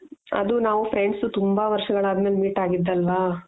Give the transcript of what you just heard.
ಅದು ನಾವು friends ತುಂಬ ವರ್ಷಗಳು ಆದ್ಮೇಲೆ meet ಆಗಿದ್ದು ಅಲ್ವ.